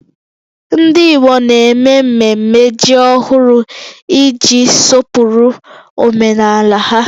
Ndị Igbo na-eme mmemme ji ọhụrụ iji sọpụrụ omenala ha